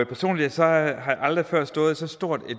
personligt har jeg aldrig før stået i så stort